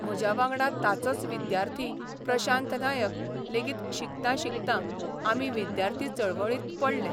म्हज्या वांगडा ताचोच विद्यार्थी प्रशांत नायक लेगीत शिकतां शिकतां आमी बिद्यार्थी चळवळींत पडले.